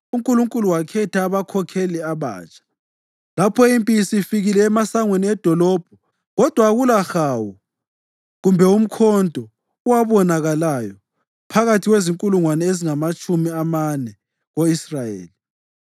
UNkulunkulu wakhetha abakhokheli abatsha lapho impi isifike emasangweni edolobho, kodwa akulahawu kumbe umkhonto owabonakalayo phakathi kwezinkulungwane ezingamatshumi amane ko-Israyeli.